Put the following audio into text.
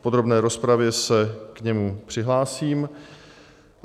V podrobné rozpravě se k němu přihlásím.